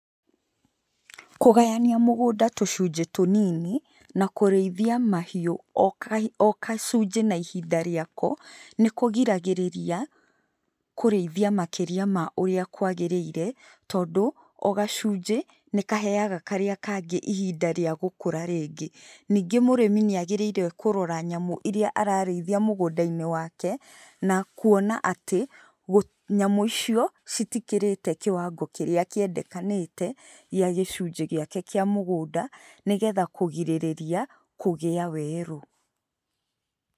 Kũgayania mũgũnda tũcunjĩ tũnini, na kũrĩithia mahiũ o ka kacunjĩ na ihinda rĩako, nĩkũgiragĩrĩria, kũrĩithia makĩria ma ũrĩa kwagĩrĩire, tondũ, o gacunjĩ, nĩkaheaga karĩa kangĩ ihinda rĩa gũkũra rĩngĩ. Ningĩ mũrĩmi nĩagĩrĩire kũrora nyamũ iria ararĩithia mũgũndainĩ wake, na kuona atĩ, gũ nyamũ icio, citikĩrĩte kĩwango kĩrĩa kĩendekanĩte gĩa gĩcunjĩ gĩake kĩa mũgũnda nĩgetha kũgirĩrĩria kũgĩa werũ.